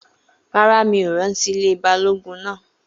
Rárá, mi ò rántí ilé Balógun náà